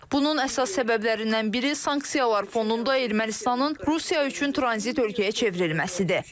Bunun əsas səbəblərindən biri sanksiyalar fonunda Ermənistanın Rusiya üçün tranzit ölkəyə çevrilməsidir.